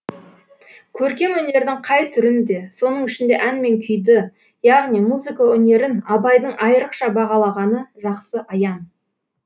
көркем өнердің қай түрін де соның ішінде ән мен күйді яғни музыка өнерін абайдың айрықша бағалағаны жақсы аян